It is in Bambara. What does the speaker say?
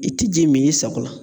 I ti ji mi i sako la